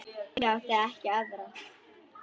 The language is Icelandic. Ég átti ekki aðra.